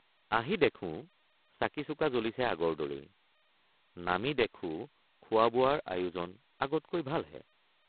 আহি দেখোঁ চাকিচুকা জ্বলিছে আগৰ দৰেই নামি দেখোঁ খোৱাবোৱাৰ আয়োজন আগতকৈ ভালহে!